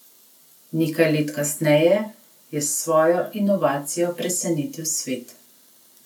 Nekaj let kasneje je s svojo inovacijo presenetil svet.